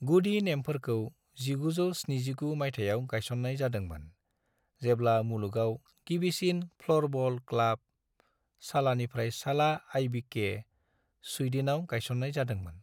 गुदि नेमफोरखौ 1979 मायथाइयाव गायसननाय जादोंमोन, जेब्ला मुलुगाव गिबिसिन फ्ल'रबल क्लाब, सालानिफ्राय साला आईबीके, स्वीड्नआव गायसननाय जादोंमोन।